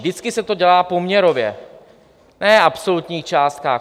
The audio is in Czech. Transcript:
Vždycky se to dělá poměrově, ne v absolutních částkách.